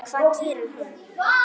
Hvað gerir hún?